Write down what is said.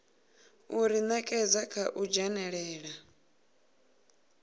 u ḓinekedza kha u dzhenelela